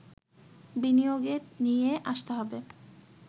বিনিয়োগে নিয়ে আসতে হবে